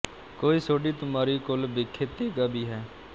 ਕੋਈ ਸੋਢੀ ਤੁਮਾਰੀ ਕੁਲ ਬਿਖੇ ਤੇਗਾ ਭੀ ਹੈ